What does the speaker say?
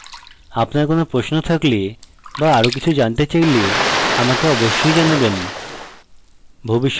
আপনার কোনো প্রশ্ন থাকলে বা আরো কিছু জানতে চাইলে আমাকে অবশ্যই জানাবেন